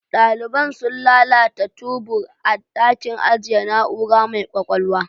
Daliban sun lalata tubur a dakin ajiye na'ura mai ƙwaƙwalwa.